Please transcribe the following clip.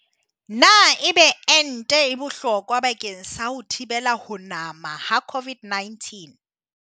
Na ebe ente e bohlokwa bakeng sa ho thibela ho nama ha COVID-19?